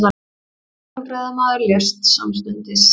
Hjólreiðamaður lést samstundis